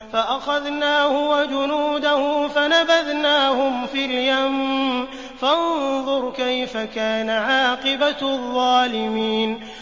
فَأَخَذْنَاهُ وَجُنُودَهُ فَنَبَذْنَاهُمْ فِي الْيَمِّ ۖ فَانظُرْ كَيْفَ كَانَ عَاقِبَةُ الظَّالِمِينَ